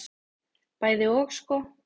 Bæði og sko.